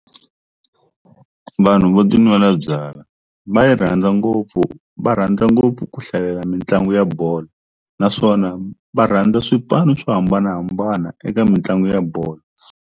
Vanhu vo tinwela byalwa va yi rhandza ngopfu va rhandza ngopfu ku hlalela mitlangu ya bolo naswona va rhandza swipano swo hambanahambana eka mitlangu ya bolo.